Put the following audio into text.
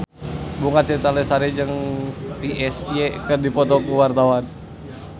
Bunga Citra Lestari jeung Psy keur dipoto ku wartawan